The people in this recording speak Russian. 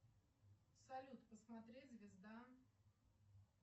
салют посмотреть звезда